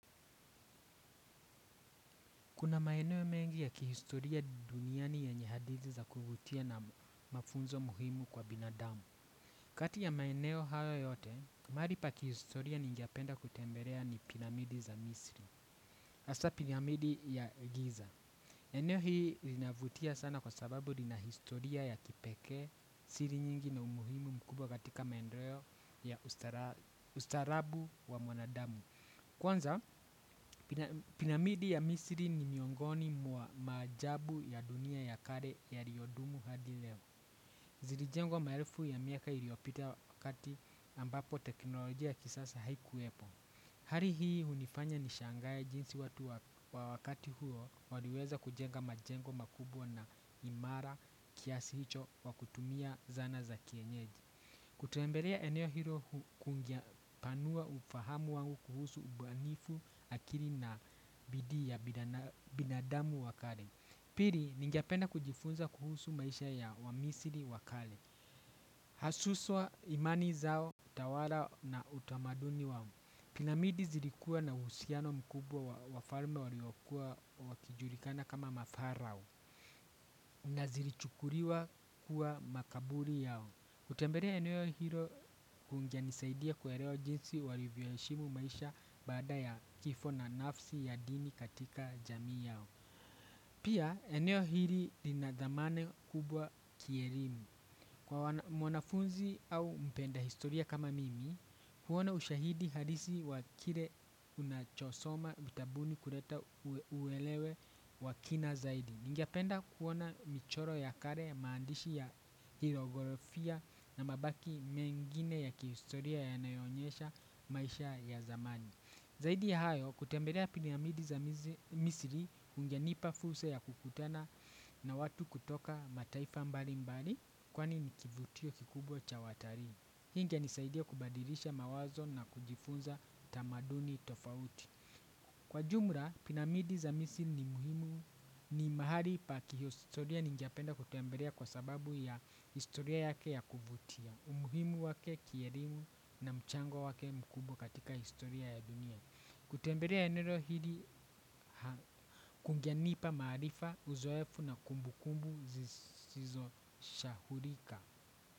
Kuna maeneo ya mengi ya kihistoria duniani yenye hadithi za kuvutia na mafunzo muhimu kwa binadamu. Kati ya maeneo hayo yote, mahali pa kihistoria ningependa kutembelea ni piramidi za misri. Hasa piramidi ya giza. Eneo hii linavutia sana kwa sababu linahistoria ya kipekee siri nyingi na umuhimu mkubwa katika maendeleo ya ustarabu wa mwanadamu. Kwanza, piramidi ya misri ni miongoni mwa maajabu ya dunia ya kale yaliodumu hadi leo. Zilijengo maelfu ya miaka iliopita wakati ambapo teknolojia ya kisasa haikuwepo. Hali hii hunifanya ni shangae jinsi watu wakati huo waliweza kujenga majengo makubwa na imara kiasi hicho kwa kutumia zana za kienyeji. Kutembelea eneo hilo kungepanua ufahamu wangu kuhusu ubunifu akili na bidii ya binadamu wa kale. Pili, ningependa kujifunza kuhusu maisha ya wamisri wa kale. Hasuswa imani zao, utawala na utamaduni wao. Piramidi zilikuwa na husiano mkubwa wa wafalme waliokuwa wakijulikana kama mafarao. Na zilichukuliwa kuwa makaburi yao. Kutembelea eneo hilo kungenisaidia kuelewa jinsi walivyo heshimu maisha baada ya kifo na nafsi ya dini katika jamii yao. Pia eneo hili linadhamana kubwa kielimu. Kwa mwanafunzi au mpenda historia kama mimi huona ushahidi halisi wa kile unachosoma vitabuni kuleta uelewe kwa kinazaidi. Ningependa kuona michoro ya kale, maandishi ya kijiografia na mabaki mengine ya kihistoria yanayoonyesha maisha ya zamani. Zaidi ya hayo, kutembelea piramidi za misri hujanipa fursa ya kukutana na watu kutoka mataifa mbali mbali kwani ni kivutio kikubwa cha watalii. Hii ingenisaidia kubadilisha mawazo na kujifunza tamaduni tofauti. Kwa jumla, piramidi za misri ni muhimu ni mahali pa kihihistoria ningependa kutembelea kwa sababu ya historia yake ya kuvutia. Umuhimu wake kielimu na mchango wake mkubwa katika historia ya dunia. Kutembelea eneo hili kungenipa maarifa uzoefu na kumbukumbu zisizo sahaulika.